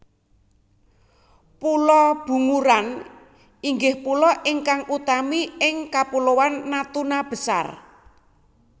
Pulo Bunguran inggih pulo ingkang utami ing Kapuloan Natuna Besar